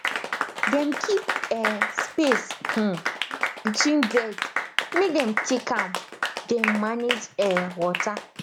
dem keep um space um between bed make dem take am dem manage um water